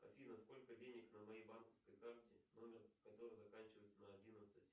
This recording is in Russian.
афина сколько денег на моей банковской карте номер которой заканчивается на одиннадцать